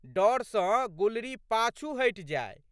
डर सँ गुलरी पाछू हटि जाइ।